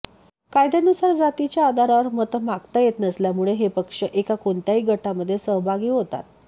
कायद्यानुसार जातीच्या आधारावर मतं मागता येत नसल्यामुळे हे पक्ष एका कोणत्याही गटामध्ये सहभागी होतात